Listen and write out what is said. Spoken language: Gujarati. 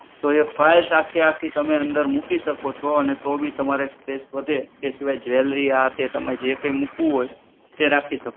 તો એ files આખે આખી તમે અંદર મૂકી શકો છો અને તોબી તમારે space વધે એ સિવાય jewellary આ તે મૂકવું હોય રાખી શકો